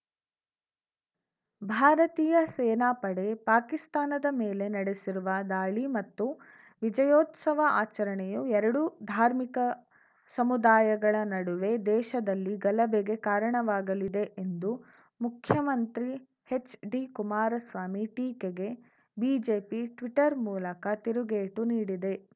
ಭಾರತೀಯ ಸೇನಾಪಡೆ ಪಾಕಿಸ್ತಾನದ ಮೇಲೆ ನಡೆಸಿರುವ ದಾಳಿ ಮತ್ತು ವಿಜಯೋತ್ಸವ ಆಚರಣೆಯು ಎರಡು ಧಾರ್ಮಿಕ ಸಮುದಾಯಗಳ ನಡುವೆ ದೇಶದಲ್ಲಿ ಗಲಭೆಗೆ ಕಾರಣವಾಗಲಿದೆ ಎಂದು ಮುಖ್ಯಮಂತ್ರಿ ಎಚ್‌ಡಿಕುಮಾರಸ್ವಾಮಿ ಟೀಕೆಗೆ ಬಿಜೆಪಿ ಟ್ವೀಟರ್‌ ಮೂಲಕ ತಿರುಗೇಟು ನೀಡಿದೆ